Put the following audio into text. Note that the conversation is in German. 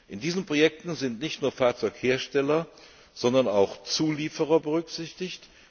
In diesen Projekten sind nicht nur Fahrzeughersteller, sondern auch Zulieferer berücksichtigt.